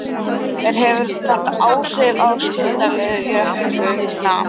En hefur þetta áhrif á skuldaleiðréttinguna?